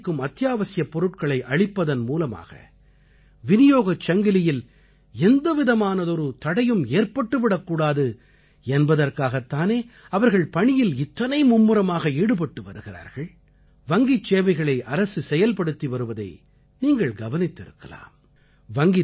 நாடு முழுமைக்கும் அத்தியாவசியப் பொருட்களை அளிப்பதன் மூலமாக விநியோகச் சங்கிலியில் எந்தவிதமானதொரு தடையும் ஏற்பட்டு விடக்கூடாது என்பதற்காகத் தானே அவர்கள் பணியில் இத்தனை மும்முரமாக ஈடுபட்டு வருகிறார்கள் வங்கிச் சேவைகளை அரசு செயல்படுத்தி வருவதை நீங்கள் கவனித்திருக்கலாம்